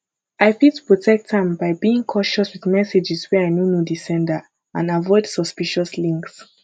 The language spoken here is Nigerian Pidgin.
i fit protect am by being cautious with messages wey i no know di sender and avoid suspicious links